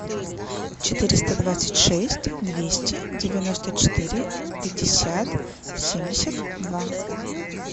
четыреста двадцать шесть двести девяносто четыре пятьдесят семьдесят два